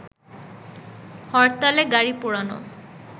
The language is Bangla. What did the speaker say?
হরতালে গাড়ি পোড়ানো